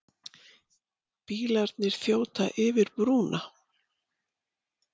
Bílarnir þjóta yfir brúna.